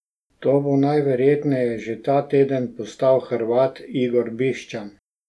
To bo najverjetneje že ta teden postal Hrvat Igor Biščan.